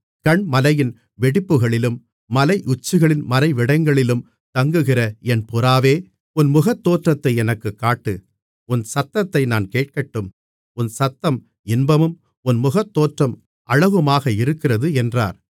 கன்மலையின் வெடிப்புகளிலும் மலையுச்சிகளின் மறைவிடங்களிலும் தங்குகிற என் புறாவே உன் முகத்தோற்றத்தை எனக்குக் காட்டு உன் சத்தத்தை நான் கேட்கட்டும் உன் சத்தம் இன்பமும் உன் முகத்தோற்றம் அழகுமாக இருக்கிறது என்றார்